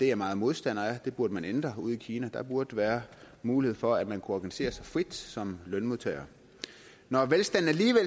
jeg meget modstander af det burde man ændre ude i kina der burde være mulighed for at man kunne organisere sig frit som lønmodtager når velstanden